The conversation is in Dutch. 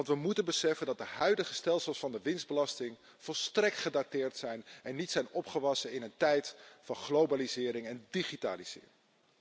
We moeten beseffen dat de huidige stelsels van de winstbelasting volstrekt gedateerd zijn en niet geschikt zijn in een tijd van globalisering en digitalisering.